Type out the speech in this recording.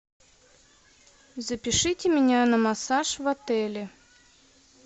запишите меня на массаж в отеле